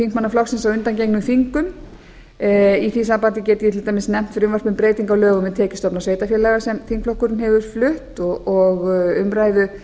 þingmanna flokksins á undangengnum þingum í því sambandi get ég til dæmis nefnt frumvarp um breytingu á lögum um tekjustofna sveitarfélaga sem þingflokkurinn hefur flutt og umræðu